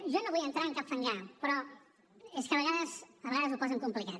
jo no vull entrar en cap fangar però és que a vegades ho posen complicat